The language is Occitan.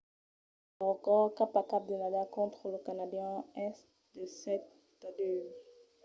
lo recòrd cap a cap de nadal contra lo canadian es de 7–2